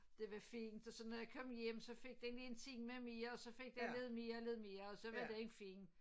Det var fint og så når jeg kom hjem så fik den lige en time mere og så fik den lidt mere og lidt mere og så var den fin